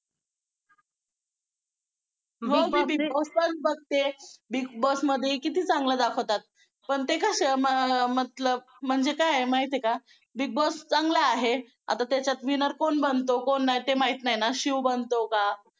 हो मी Big Boss पण बघते. Big Boss मध्ये किती चांगलं दाखवतात. पण ते कसं मतलब म्हणजे काय आहे माहिती आहे का? Big Boss चांगलं आहे. आता त्याच्यात winner कोण बनतो, कोण नाही ते माहित नाही ना, शिव बनतो का?